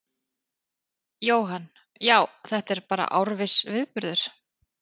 Jóhann: Já, þetta er bara árviss viðburður?